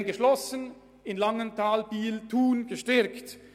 In Langenthal, Biel und Thun hingegen wurden diese Ausbildungen gestärkt.